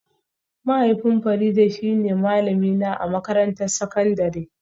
Mahaifin Farida shine malamina a makarantar sakandare